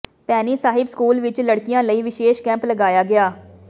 Bhaini Sahib school ਵਿੱਚ ਲੜਕੀਆਂ ਲਈ ਵਿਸ਼ੇਸ਼ ਕੈਂਪ ਲਗਾਇਆ ਗਿਆ